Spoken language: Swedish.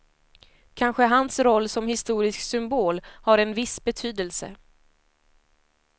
Kanske hans roll som historisk symbol har en viss betydelse.